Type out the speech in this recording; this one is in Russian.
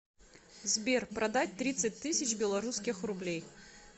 сбер продать тридцать тысяч белорусских рублей